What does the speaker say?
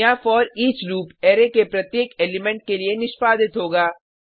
यहाँ for each loop array के प्रत्येक एलिमेंट के लिए निष्पादित होगा